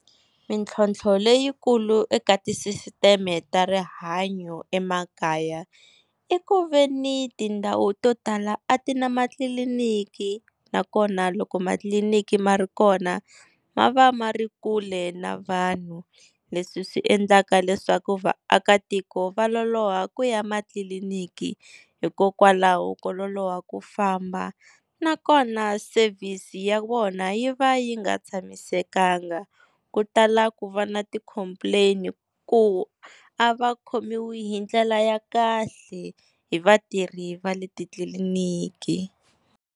Mintlhontlho leyikulu eka tisisiteme ta rihanyo emakaya, i ku veni tindhawu to tala a ti na matliliniki, nakona loko matliliniki ma ri kona ma va ma ri kule na vanhu, leswi swi endlaka leswaku vaakatiko va loloha ku ya matliliniki hikokwalaho ko loloha ku famba. Nakona service ya wona yi va yi nga tshamisekanga ku tala ku va na ti-complain-i, ku a va khomiwa hi ndlela ya kahle hi vatirhi va le titliliniki.